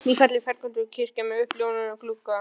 Ný, falleg ferköntuð kirkja sem er uppljómuð af gluggum